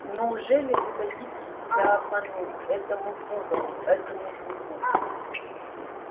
неужели вы дадите себя обмануть этому пугалу этому шуту